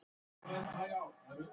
Ég segi þér allt.